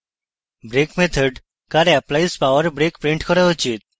brake method car applies power brake print car উচিত